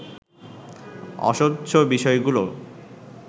অস্বচ্ছ বিষয়গুলো